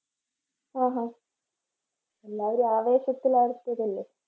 ഹും ഹും എല്ലാവരെയും ആഘോഷത്തിൽ ആഴ്ത്തിയതല്ലേ